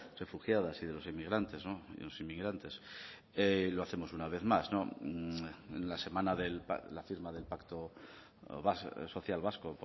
refugiadas y de los inmigrantes no y los inmigrantes y lo hacemos una vez más no en la semana de la firma del pacto social vasco